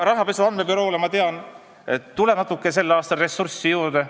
Rahapesu andmebüroole, ma tean, tuleb sel aastal natuke ressurssi juurde.